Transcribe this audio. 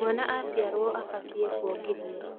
Mwana aciarwo abatiĩ kuongithio